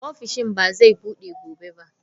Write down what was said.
Ofishin ba zai bude gobe ba.